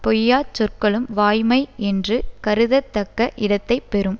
பொய்யாச் சொற்களும் வாய்மை என்று கருதத் தக்க இடத்தை பெறும்